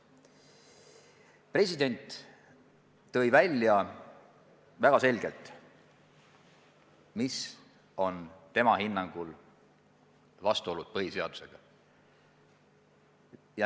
President tõi väga selgelt välja, millised on tema hinnangul vastuolud põhiseadusega.